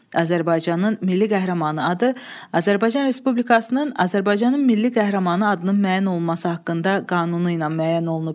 Azərbaycanın Milli Qəhrəmanı adı Azərbaycan Respublikasının Azərbaycanın Milli Qəhrəmanı adının müəyyən olunması haqqında qanunu ilə müəyyən olunub.